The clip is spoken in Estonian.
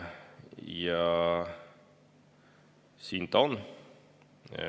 Ja siin ta on.